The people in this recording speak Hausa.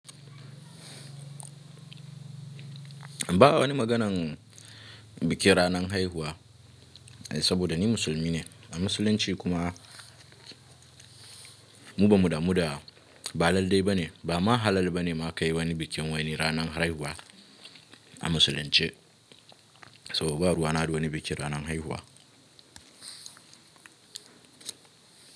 Ba wani maganan bikin ranan haihuwa saboda ni musulmi ne. A musulunci kuma mu ba mu da mu da ba lallai ba ne ba ma halal ba ne ma ka yi wani bikin wani ranan haihuwa a musulunce. Saboda ba ruwa na da wani bikin ranan haihuwa.